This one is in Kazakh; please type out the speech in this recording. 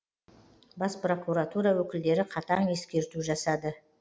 бас прокуратура өкілдері қатаң ескерту жасады